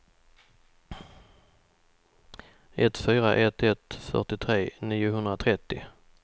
ett fyra ett ett fyrtiotre niohundratrettio